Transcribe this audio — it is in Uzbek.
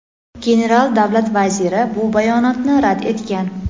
general Davlat Vaziri bu bayonotni rad etgan.